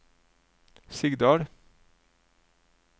Sigdal